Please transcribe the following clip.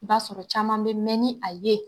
I b'a sɔrɔ caman bɛ mɛɛn ni a ye.